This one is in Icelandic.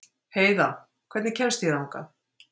Heiða, hvernig kemst ég þangað?